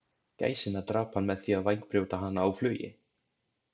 Gæsina drap hann með því að vængbrjóta hana á flugi.